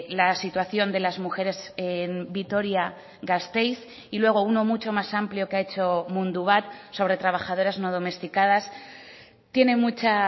la situación de las mujeres en vitoria gasteiz y luego uno mucho más amplio que ha hecho mundubat sobre trabajadoras no domesticadas tiene mucha